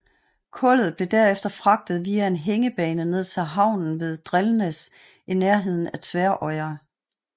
Kullet blev derefter fragtet via en hængebane ned til havnen ved Drelnes i nærheden af Tvøroyri